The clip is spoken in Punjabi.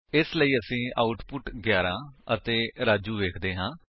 ਇਸ ਲਈ ਅਸੀ ਆਉਟਪੁਟ 11 ਅਤੇ ਰਾਜੂ ਵੇਖਦੇ ਹਾਂ